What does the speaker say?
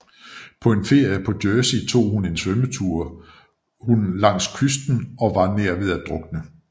På en ferie på Jersey tog hun en svømmetur hun langs kysten og var nær ved at drukne